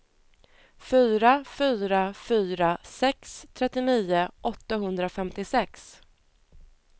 fyra fyra fyra sex trettionio åttahundrafemtiosex